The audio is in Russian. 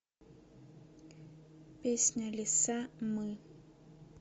песня лиса мы